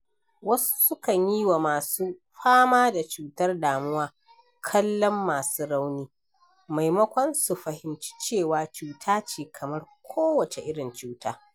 Wasu sukan yi wa masu fama da cutar damuwa kallon masu rauni, maimakon su fahimci cewa cuta ce kamar kowace irin cuta.